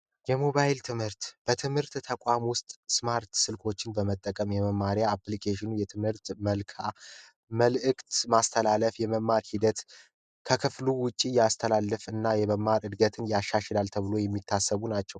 የሞባይል ትምህርት በትምህርት ተቋም ውስጥ ስማርት ስልኮችን በመጠቀም የመማሪያ አፕልኬሽኑ የትምህርት መልዕክት የማስተላለፍ እና የመማር ሂደት ከክፍሉ ውጭ የማስተላለፍና እድገትን ያሻሽላሉ ተብሎ የሚታሰቡ ናቸው።